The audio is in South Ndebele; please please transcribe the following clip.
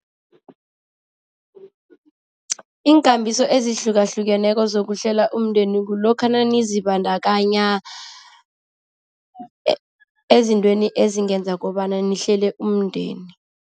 Iinkambiso ezihlukahlukeneko zokuhlela umndeni kulokha nanizibandakanya ezintweni ezingenza kobana nihlele umndeni.